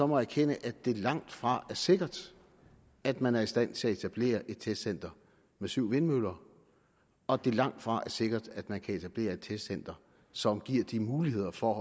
må erkende at det langtfra er sikkert at man er i stand til at etablere et testcenter med syv vindmøller og at det langtfra er sikkert at man kan etablere et testcenter som giver de muligheder for